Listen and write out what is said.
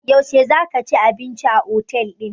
Yaushe za ka ci abinci a otel ɗin?